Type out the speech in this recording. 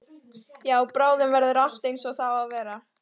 Já, bráðum verður allt einsog það á að vera.